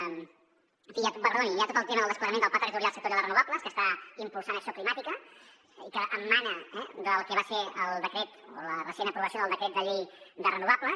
en fi perdoni hi ha tot el tema del desplegament del pla territorial sectorial de renovables que està impulsant acció climàtica i que emana del que va ser el decret o la recent aprovació del decret de llei de renovables